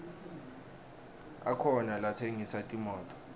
akhona latsengisa timoto